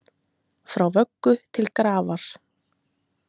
Frá vöggu til grafar